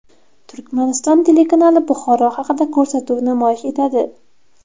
Turkmaniston telekanali Buxoro haqida ko‘rsatuv namoyish etadi.